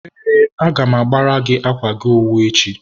ee, agam agbara gị akwa gị owu echi.